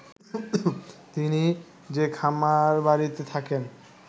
তিনি যে খামারবাড়িতে থাকেন